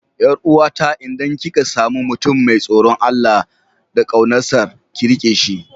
Yar uwata idan kika sami mutum mai tsoron Allah da kaunarsa, ki rike shi.